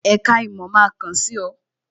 Èka ìmò máa kàn sí ọ